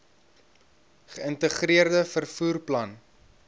geïntegreerde vervoer plan